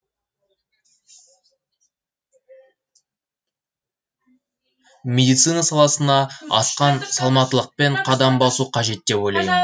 медицина саласына асқан салмақтылықпен қадам басу қажет деп ойлаймын